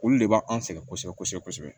Olu de b'an sɛgɛn kosɛbɛ kosɛbɛ kosɛbɛ kosɛbɛ